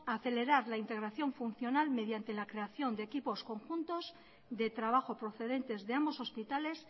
acelerar la integración funcional mediante la creación de equipos conjuntos de trabajo procedentes de ambos hospitales